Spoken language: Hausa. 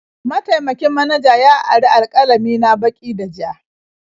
Mataimakin manaja ya ari alƙalami na baki da ja.